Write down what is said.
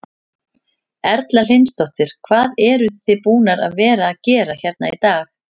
Erla Hlynsdóttir: Hvað eruð þið búnar að vera að gera hérna í dag?